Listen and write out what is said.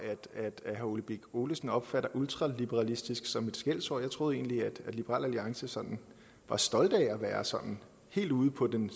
herre ole birk olesen opfatter ultraliberalistisk som et skældsord jeg troede egentlig at liberal alliance sådan var stolte af at være sådan helt ude på den